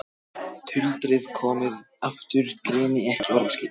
Tuldrið komið aftur, greini ekki orðaskil.